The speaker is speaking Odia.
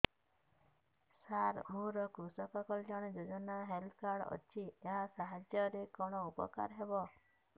ସାର ମୋର କୃଷକ କଲ୍ୟାଣ ଯୋଜନା ହେଲ୍ଥ କାର୍ଡ ଅଛି ଏହା ସାହାଯ୍ୟ ରେ କଣ ଉପକାର ହବ